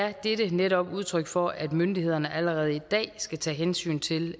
er dette netop udtryk for at myndighederne allerede i dag skal tage hensyn til